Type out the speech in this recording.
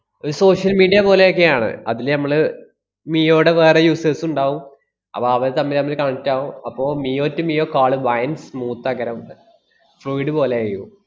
ഒരു social media പോലെയൊക്കെയാണ്. അതില് ഞമ്മള് മിയോടെ വേറെ users ഉണ്ടാവും. അപ്പ അവര് തമ്മിലമ്മില് connect ആവും. അപ്പൊ മിയോ to മിയോ call ഭയ~ smooth ആക്കാനാ പോകുന്നെ fluid പോലെയേവും.